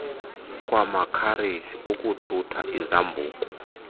kwamakhareji ukuthutha izambuku